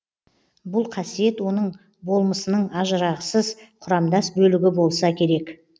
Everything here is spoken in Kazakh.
бұл қасиет оның болмысының ажырағысыз құрамдас бөлігі болса керек